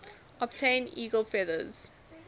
obtain eagle feathers